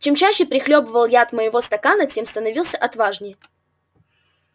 чем чаще прихлёбывал я от моего стакана тем становился отважнее